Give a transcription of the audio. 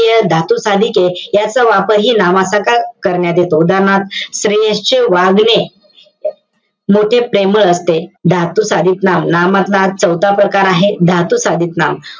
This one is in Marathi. धातू साधके, याचा वापरही नामासकट करण्यात येतो. उदाहरणार्थ, श्रेयसच्या वागणे, मोठे प्रेमळ असते. धातुसाधित नाम, नामातला हा चौथा प्रकार आहे. धातु साधित नाम.